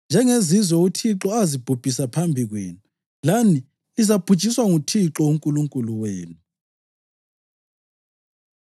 Njengezizwe uThixo azibhubhisa phambi kwenu lani lizabhujiswa nguThixo uNkulunkulu wenu.”